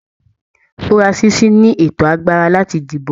Furasisi ni ẹtọ agbára láti dìbò